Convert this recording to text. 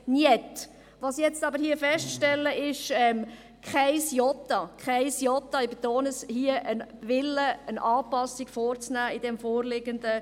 Was ich jetzt aber hier feststelle ist, kein Jota ändern zu wollen, kein Wille, eine Anpassung im vorliegenden Budget vorzunehmen.